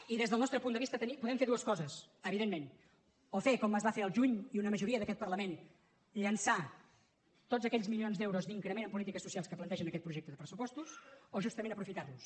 i des del nostre punt de vista podem fer dues coses evidentment o fer com es va fer el juny i una majoria d’aquest parlament llençar tots aquells milions d’euros d’increment en polítiques socials que planteja aquest projecte de pressupostos o justament aprofitar los